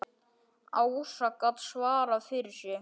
Ása gat svarað fyrir sig.